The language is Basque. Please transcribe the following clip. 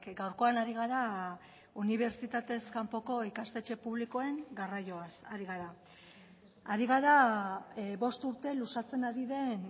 gaurkoan ari gara unibertsitatez kanpoko ikastetxe publikoen garraioaz ari gara ari gara bost urte luzatzen ari den